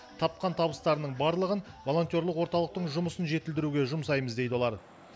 тапқан табыстарының барлығын волонтерлық орталықтың жұмысын жетілдіруге жұмсаймыз дейді олар